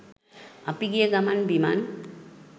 අපි ගිය ගමන් බිමන්